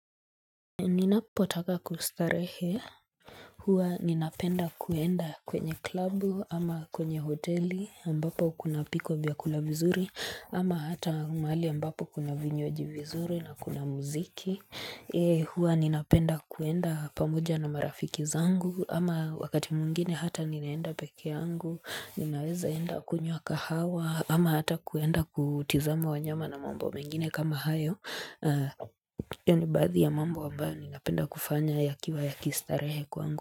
Ninapo taka kustarehe huwa ninapenda kuenda kwenye klabu ama kwenye hoteli ambapo kunapikwa vyakula vizuri ama hata mahali ambapo kuna vinywaji vizuri na kuna muziki huwa ninapenda kuenda pamoja na marafiki zangu ama wakati mwingine hata ninaenda pekee yangu ninaweza enda kunywa kahawa ama hata kuenda kutizama wanyama na mambo mengine kama hayo hiyo ni baathi ya mambo ambayo ninapenda kufanya yakiwa ya kistarehe kwangu.